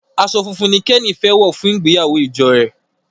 aṣọ fún fún ní Kenny fè wọ fún ìgbéyàwó ìjọ rẹ.